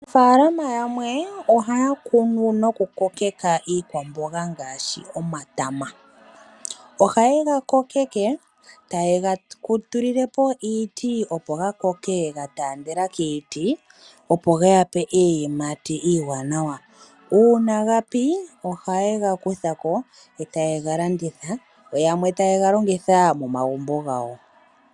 Aanafalama yamwe ohaa kunu noku kokeka iikwambonga yimwe ngaashi omatama, ohaye ga kokeke eta ye ga tulilepo iiti opo gatandele kiiti opo ge ya pe iiyimati iiwanawa. Ngele gapi ohayega kuthako eteye ga landitha yo yamwe taye galongitha momagumbo gawo.